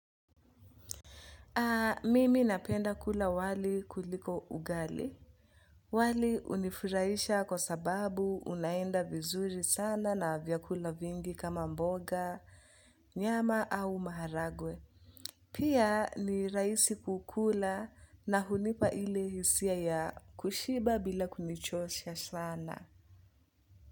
Mimi napenda kula wali kuliko ugali. Wali hunifirahisha kwa sababu unaenda vizuri sana na vyakula vingi kama mboga, nyama au maharagwe. Pia ni rahisi kukula na hunipa ile hisia ya kushiba bila kunichosha sana.